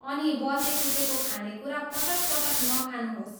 अनि बचेखुचेको खानेकुरा पटक पटक नखानुहोस्।